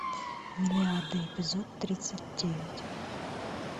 миллиарды эпизод тридцать девять